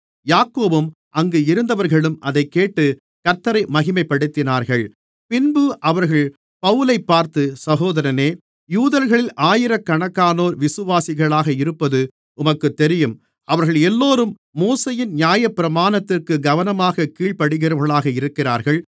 யாக்கோபும் அங்கு இருந்தவர்களும் அதைக்கேட்டுக் கர்த்த்தரை மகிமைப்படுத்தினார்கள் பின்பு அவர்கள் பவுலைப் பார்த்து சகோதரனே யூதர்களில் ஆயிரக்கணக்கானோர் விசுவாசிகளாக இருப்பது உமக்குத் தெரியும் அவர்கள் எல்லோரும் மோசேயின் நியாயப்பிரமாணத்திற்கு கவனமாக கீழ்ப்படிகிறவர்களாக இருக்கிறார்கள்